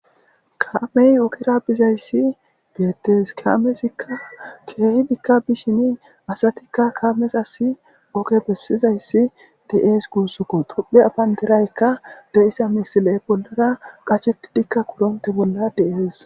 Kame ogera bizayisi betes kamezika kehi bishin asatika kamezas oge besizasi betes dee's gusako tophiya bandirayika lo,iza misileka koronte bolla qashetidi dee,es gusako